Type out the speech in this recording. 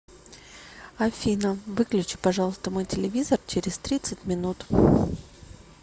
афина выключи пожалуйста мой телевизор через тридцать минут